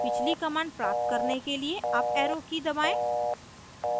पिछली command प्राप्त करने के लिए अप arrow की दबाएं